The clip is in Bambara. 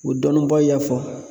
o dɔnnibaw y'a fɔ